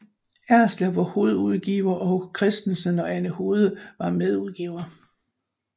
Erslev var hovedudgiver og Christensen og Anna Hude var medudgivere